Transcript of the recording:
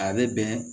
A bɛ bɛn